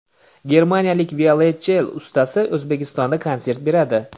Germaniyalik violonchel ustasi O‘zbekistonda konsert beradi.